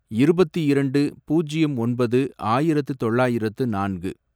இருபத்தி இரண்டு, பூஜ்யம் ஒன்பது, ஆயிரத்து தொள்ளாயிரத்து நான்கு